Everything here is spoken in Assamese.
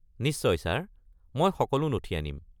নিশ্চয় ছাৰ! মই সকলো নথি আনিম।